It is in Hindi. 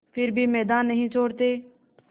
फिर भी मैदान नहीं छोड़ते